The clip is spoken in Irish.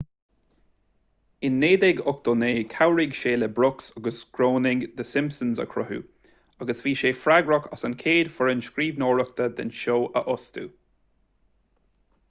in 1989 chabhraigh sé le brooks agus groening the simpsons a chruthú agus bhí sé freagrach as an gcéad fhoireann scríbhneoireachta den seó a fhostú